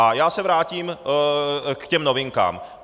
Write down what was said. A já se vrátím k těm novinkám.